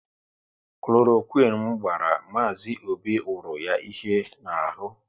Kloroquine m gbara Mazi Obi wuru ya ihe n'ahụ